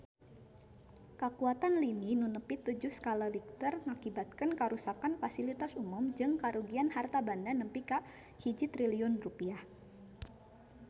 Kakuatan lini nu nepi tujuh skala Richter ngakibatkeun karuksakan pasilitas umum jeung karugian harta banda nepi ka 1 triliun rupiah